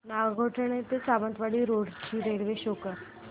नागोठणे ते सावंतवाडी रोड ची railway show कर